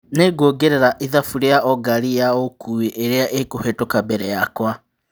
Nĩ nguongerera ithabu rĩ a o ngari ya ũkui irĩ a ĩ kuhetũka mbere yakwa.